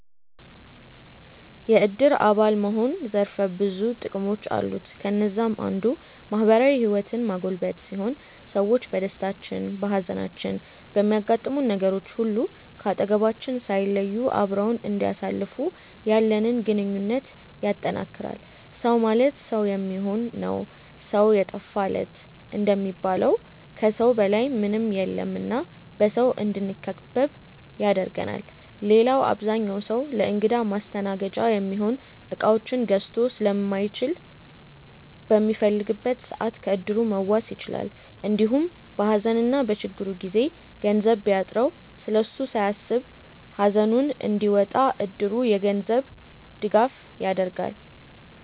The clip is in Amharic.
የዕድር አባል መሆን ዘርፈ ብዙ ጥቅሞች አሉት። ከነዛም አንዱ ማህበራዊ ህይወትን ማጎልበት ሲሆን ሰዎች በደስታችን፣ በሃዘናችን፣ በሚያጋጥሙን ነገሮች ሁሉ ከአጠገባችን ሳይለዩ አብረውን እንዲያሳልፉ ያለንን ግንኙነት ያጠነክራል። “ሰው ማለት ሰው የሚሆን ነው ሰው የጠፋ ለት” እንደሚባለው ከሰው በላይ ምንም የለም እና በሰው እንድንከበብ ያደርገናል። ሌላው አብዛኛው ሰው ለእንግዳ ማስተናገጃ የሚሆኑ እቃዎችን ገዝቶ ስለማይችል በሚፈልግበት ሰዓት ከዕድሩ መዋስ ይችላል። እንዲሁም በሃዘንና በችግሩ ጊዜ ገንዘብ ቢያጥረው ስለሱ ሳያስብ ሃዘኑን እንዲወጣ እድሩ የገንዘብ ድጋፍ ያደርጋል።